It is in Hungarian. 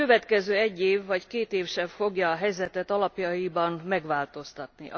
Ez nem fogja a helyzetet alapjaiban megváltoztatni.